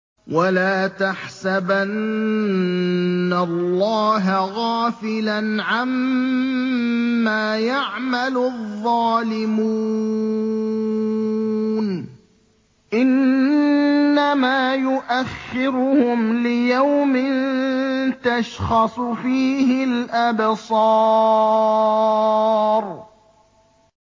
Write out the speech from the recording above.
وَلَا تَحْسَبَنَّ اللَّهَ غَافِلًا عَمَّا يَعْمَلُ الظَّالِمُونَ ۚ إِنَّمَا يُؤَخِّرُهُمْ لِيَوْمٍ تَشْخَصُ فِيهِ الْأَبْصَارُ